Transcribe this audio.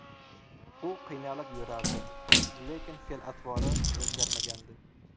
U qiynalib yurardi, lekin fe’l-atvori o‘zgarmagandi.